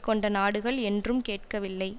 கொண்ட நாடுகள் என்றும் கேட்கவில்லை